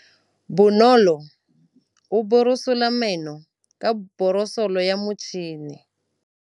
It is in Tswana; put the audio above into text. Bonolô o borosola meno ka borosolo ya motšhine.